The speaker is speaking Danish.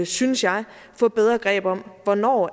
synes jeg at få bedre greb om hvornår